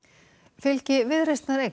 fylgi Viðreisnar eykst